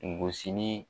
Gosili